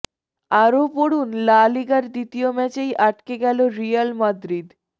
আরও পড়ুন লা লিগার দ্বিতীয় ম্যাচেই আটকে গেল রিয়াল মাদ্রিদ